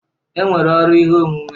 E nwere ọrụ ihe omume.